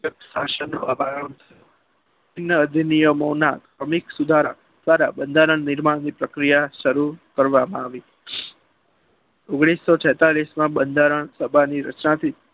અધિનિયમોના અનેક સુધારા દ્વારા બંધારણ નિર્માણની પ્રક્રિયા શરૂ કરવામાં આવી. ઓગણીસો છેતાલીસ માં બંધારણ સભાના ની રચનાથી